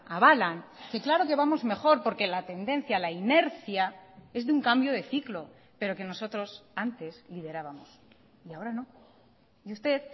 avalan que claro que vamos mejor porque la tendencia la inercia es de un cambio de ciclo pero que nosotros antes liderábamos y ahora no y usted